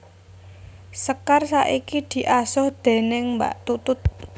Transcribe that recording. Sekar saiki diasuh déning Mbak Tutut